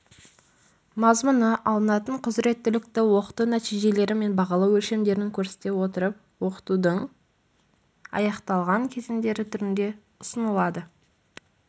мазмұны алынатын құзыреттілікті оқыту нәтижелері мен бағалау өлшемдерін көрсете отырып оқытудың аяқталған кезеңдері түрінде ұсынылады